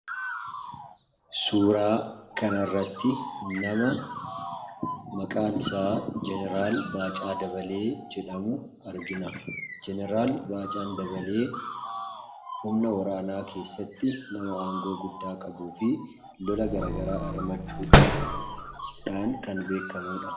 Suuraa kanarratti nama maqaan isa jenaraal Baacaa Dabalee jedhamu argina. jenaraal Baacaa Dabalee humna waraanaa keessatti nama aangoo guddaa qabu fi lola garagaraa irratti hirmachuudhaan kan beekamudha.